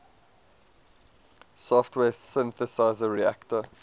software synthesizer reaktor